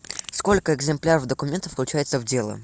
сколько экземпляров документов включается в дело